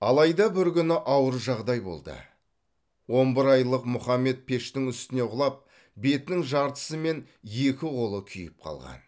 алайда бір күні ауыр жағдай болды он бір айлық мұхаммед пештің үстіне құлап бетінің жартысы мен екі қолы күйіп қалған